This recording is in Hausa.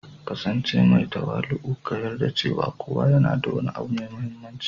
ƙasance mai tawali'u, ka yarda cewa kowa yana da wani abu mai mahimmanci